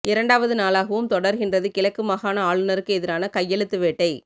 இரண்டாவது நாளாகவும் தொடர்கின்றது கிழக்கு மாகாண ஆளுநருக்கு எதிரான கையெழுத்து வேட்டை